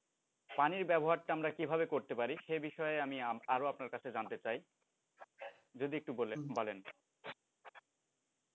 পানির ব্যবহারটা আমরা কিভাবে করতে পারি সে বিষয়ে আমি আরও আপনার কাছে জানতে চাই যদি একটু বলেন।